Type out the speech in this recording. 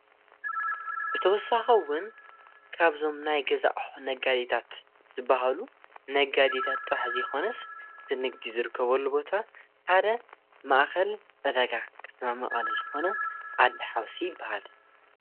ብተወሳኺውን ካብዞም ናይ ገዛኣቁሑ ነጋዲታት ዝበሃሉ ነጋዲታት ጥራሕዘይኾነስ ዝንግዲ ዝርከበሉ ቦታ ሓደ ማኣኸል ዕደጋ ከተማመቐለ ዝኾነ ዓዲ ሓውሲ ይበሃል።